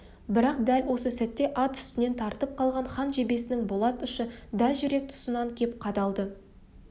бірақ дәл осы сәтте ат үстінен тартып қалған хан жебесінің болат ұшы дәл жүрек тұсынан кеп қадалды